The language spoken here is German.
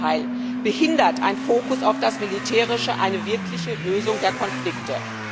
Im Gegenteil behindert ein Fokus auf das Militärische eine wirkliche Lösung der Konflikte.